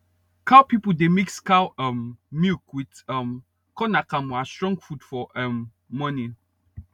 cow people dey mix cow um milk with um corn akamu as strong food for um morning